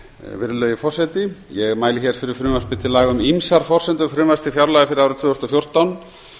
virðulegi forseti ég mæli fyrir frumvarpi til laga um ýmsar forsendur frumvarps til fjárlaga fyrir árið tvö þúsund og fjórtán